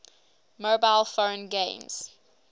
mobile phone games